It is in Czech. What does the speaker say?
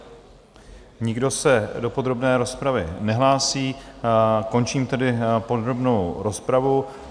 Nikdo se do podrobné rozpravy nehlásí, končím tedy podrobnou rozpravu.